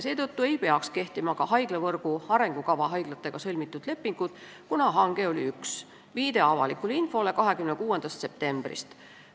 Seetõttu ei peaks kehtima ka haiglavõrgu arengukava haiglatega sõlmitud lepingud, kuna hange oli üks – viide avalikule infole 26. septembrist.